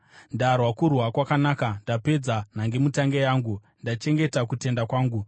Ndarwa kurwa kwakanaka, ndapedza nhangemutange yangu, ndachengeta kutenda kwangu.